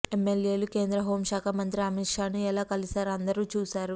ఎమ్మెల్యేలు కేంద్ర హోంశాఖ మంత్రి అమిత్ షాను ఎలా కలిశారో అందరూ చూశారు